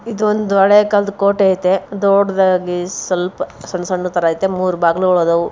ಇದು ಒಂದು ಹಳೆ ಕಾಲದ ಕೋಟೆ ಇದೆ ದೊಡ್ಡದಾಗಿ ಸಣ್ ಸಣ್ಣದವು ಮೂರು ಬಾಗಿಲು ಅದವು.